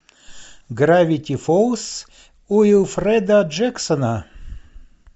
гравити фолз уилфреда джексона